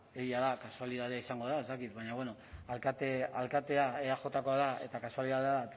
egia da kasualidadea izango da ez dakit baina bueno alkatea eajkoa da eta kasualidadea